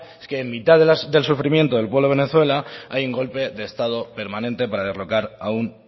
es que en mitad del sufrimiento del pueblo de venezuela hay un golpe de estado permanente para derrocar a un